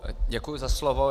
Děkuji za slovo.